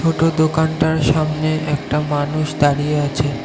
দোকানটার সামনে একটা মানুষ দাঁড়িয়ে আছে।